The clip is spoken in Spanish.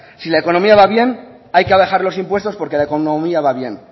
si la economía va bien hay que bajar los impuestos porque la economía va bien